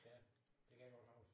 Ja det kan jeg godt huske